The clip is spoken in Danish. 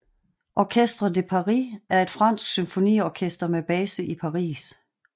Orchestre de Paris er et fransk symfoniorkester med base i Paris